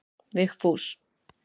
Vigfús